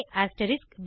ab